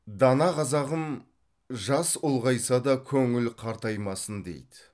дана қазағым жас ұлғайса да көңіл қартаймасын дейді